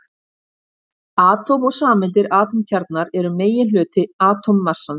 Atóm og sameindir Atómkjarnar eru meginhluti atómmassans.